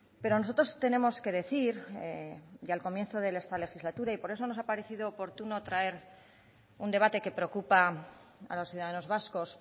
pero nosotros tenemos que decir y al comienzo de esta legislatura y por eso nos ha aparecido oportuno traer un debate que preocupa a los ciudadanos vascos